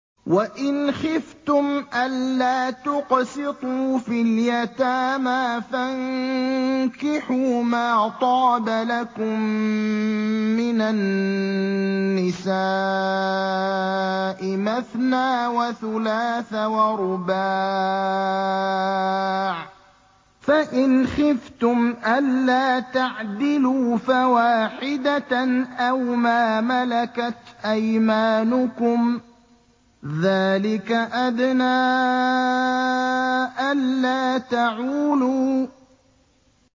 وَإِنْ خِفْتُمْ أَلَّا تُقْسِطُوا فِي الْيَتَامَىٰ فَانكِحُوا مَا طَابَ لَكُم مِّنَ النِّسَاءِ مَثْنَىٰ وَثُلَاثَ وَرُبَاعَ ۖ فَإِنْ خِفْتُمْ أَلَّا تَعْدِلُوا فَوَاحِدَةً أَوْ مَا مَلَكَتْ أَيْمَانُكُمْ ۚ ذَٰلِكَ أَدْنَىٰ أَلَّا تَعُولُوا